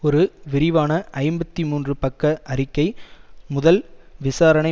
ஒரு விரிவான ஐம்பத்தி மூன்று பக்க அறிக்கை முதல் விசாரணை